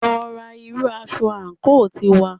Lọ rán irú aṣọ àǹkóò tiwa